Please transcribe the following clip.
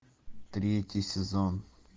третий сезон